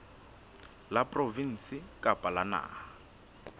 la provinse kapa la naha